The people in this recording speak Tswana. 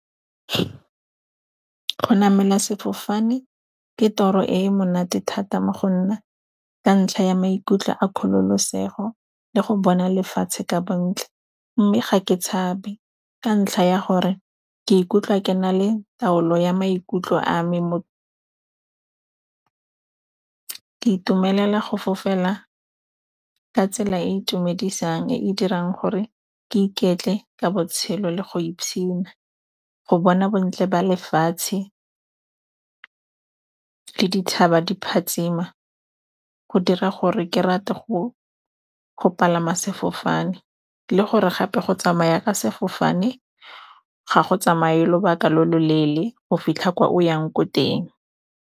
Go namela sefofane, ke toro e e monate thata mo go nna ka ntlha ya maikutlo a kgololosego le go bona lefatshe ka bontle. Mme ga ke tshabe ka ntlha ya gore ke ikutlwa ke na le taolo ya maikutlo a me, ke itumelela go fofela ka tsela e e itumedisang, e e dirang gore ke iketle ka botshelo le go e go bona bontle ba lefatshe. Dithaba di phatshima, go dira gore ke rate go palama sefofane le gore gape go tsamaya ka sefofane ga go tsamaya lobaka lo loleele go fitlha kwa o yang ko teng.